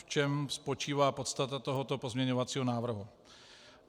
V čem spočívá podstata tohoto pozměňovacího návrhu?